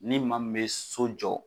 Ni maa min bɛ so jɔ